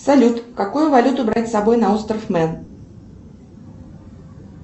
салют какую валюту брать с собой на остров мэн